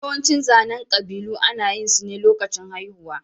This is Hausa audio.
Yawancin zanen ƙabilu ana yin su ne lokacin haihuwa.